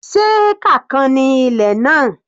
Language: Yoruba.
Se hectare kan ni ilẹ̀ náà?